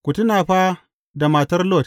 Ku tuna fa da matar Lot!